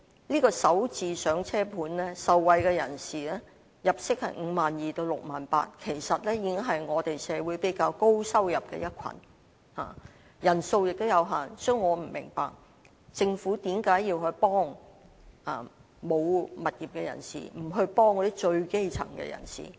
"港人首置上車盤"的受惠人士入息是 52,000 元至 68,000 元，其實已是社會上收入比較高的一群，人數也有限，所以我不明白政府為何要幫助沒有物業的人，而不幫助最基層的人。